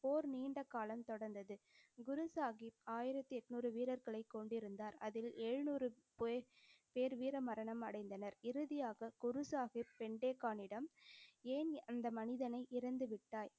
போர் நீண்ட காலம் தொடர்ந்தது. குரு சாஹிப் ஆயிரத்தி எண்ணூறு வீரர்களைக் கொண்டிருந்தார். அதில் எழுநூறு போய்~ பேர் வீர மரணம் அடைந்தனர். இறுதியாக, குரு சாஹிப் பிண்டே கானிடம் ஏன் அந்த மனிதனை இறந்து விட்டாய்?